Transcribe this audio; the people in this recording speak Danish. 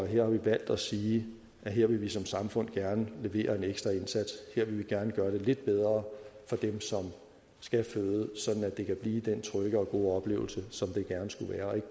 her har valgt at sige at her vil vi som samfund gerne levere en ekstra indsats her vil vi gerne gøre det lidt bedre for dem som skal føde sådan at det kan blive den trygge og gode oplevelse som det gerne skulle være